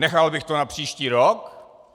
Nechal bych to na příští rok...